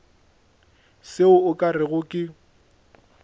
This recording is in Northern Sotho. se o ka rego ke